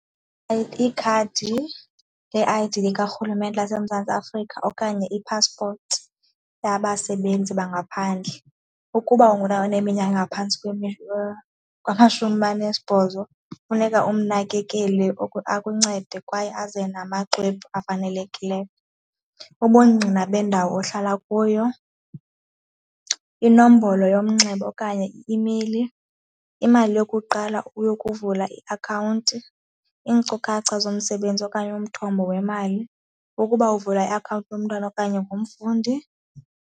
Ikhadi le-I_D likarhulumente laseMzantsi Afrika okanye ipaspoti yabasebenzi bangaphandle. Ukuba uneminyaka engaphantsi kwamashumi anesibhozo funeka umnakekele akuncede kwaye aze namaxwebhu afanelekileyo. Ubungqina bendawo ohlala kuyo, inombolo yomnxeba okanye i-imeyili, imali yokuqala yokuvula iakhawunti, iinkcukacha zomsebenzi okanye umthombo wemali ukuba uvula iakhawunti yomntwana okanye ngumfundi.